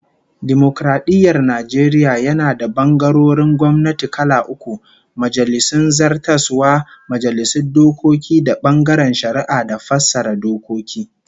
Dimokaradiyyar Najeriya yana da bangarorin gwamnati kala uku, Majalisun Zartaswa, Majalisun Dokoki da bangaren Shari'a da fassara dokoki